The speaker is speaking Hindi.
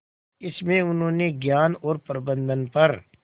इसमें उन्होंने ज्ञान और प्रबंधन पर